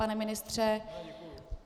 Pane ministře?